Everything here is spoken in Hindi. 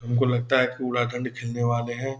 हमको लगता है पूरा खंड वाले हैं।